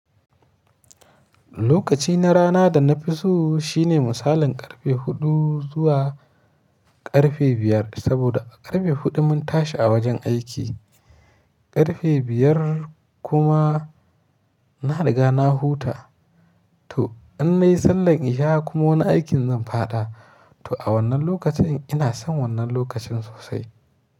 Lokaci na rana da na fi so shine misalin ƙarfe huɗu zuwa ƙarfe biyar. Saboda a ƙarfe huɗu mun tashi a wajen aiki, ƙarfe biyar kuma na riga na huta. To in nayi sallan isha kuma wani aikin zan faɗa. To a wannan lokacin ina son wannan lokacin sosai.